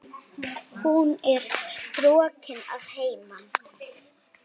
Hún er strokin að heiman.